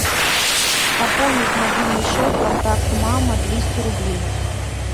пополнить мобильный счет контакт мама двести рублей